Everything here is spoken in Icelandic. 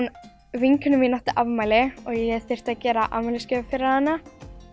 vinkona mín átti afmæli og ég þurfti að gera afmælisgjöf fyrir hana